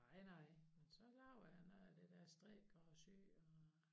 Nej nej men så laver jeg noget af det dér strikker og syer og